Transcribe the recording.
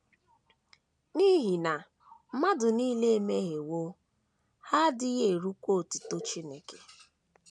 N’ihi na “ mmadụ nile emehiewo, ha adịghị erukwa otuto Chineke. ”